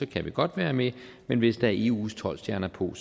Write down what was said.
kan vi godt være med men hvis der er eus tolv stjerner på kan